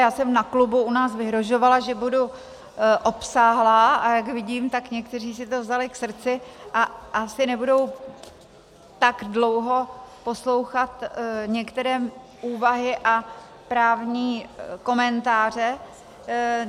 Já jsem na klubu u nás vyhrožovala, že budu obsáhlá, a jak vidím, tak někteří si to vzali k srdci a asi nebudou tak dlouho poslouchat některé úvahy a právní komentáře.